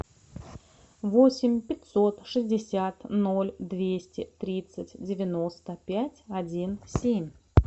восемь пятьсот шестьдесят ноль двести тридцать девяносто пять один семь